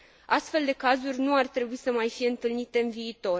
Astfel de cazuri nu ar trebui să mai fie întâlnite în viitor.